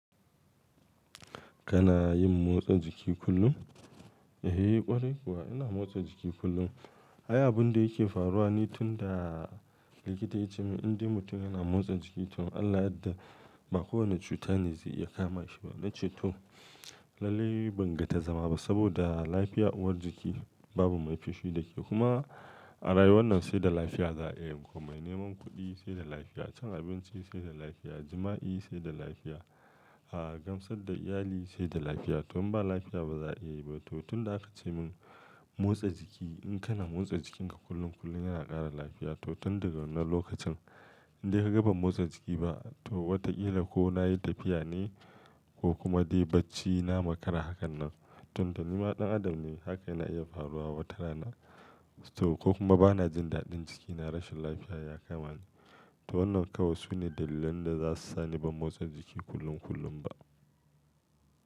Kana yin motsa jiki kullum? Eh ƙwarai kuwa ina motsa jiki kullum. Abun da yake faruwa ni tun da likita ya ce mun in dai mutum yana motsa jiki to in Allah ya yadda ba kowani cuta ne zai iya kama shi ba. Na ce to lallai ban ga ta zama ba saboda lafiya uwar jiki babu mai fishi da ke. Kuma a rayuwan nan sai da lafiya za'a iya yin komai, neman kuɗi sai da lafiya, cin abinci sai da lafiya, jima'i sai da lafiya, gamsar da iyali sai da lafiya. To in ba lafiya ba za a yi ba. To tun da aka ce mun motsa jiki in kana motsa jikinka kullum kullum yana ƙara lafiya. To tun daga wannan lokacin inda ka ga ban motsa jiki ba to wataƙila ko na yi tafiya ne ko kuma dai bacci na makara hakan nan. Tunda nima ɗan adam ne haka yana iya faruwa watarana. To ko kuma bana jin daɗin jikina rashin lafiya ya kama ni. To wannan kawai su ne dalilan da za su sa ni ban motsa jiki kullum kullum ba.